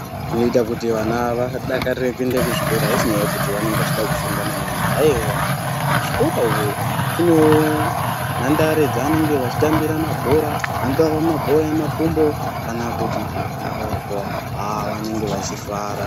Zvinoita kuti vana vadakarire kuende kuzvikora aisinyaya yekuti vanenge vachida kufunda maningi ayewa. Kuzvikora uku kunewo nhandare dzavanenge vachitambira mabhora angava mabhora emakumbo kana kuti aemaoko haa vanenge vachifara.